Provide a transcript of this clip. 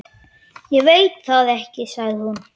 Ég veit það ekki sagði hún.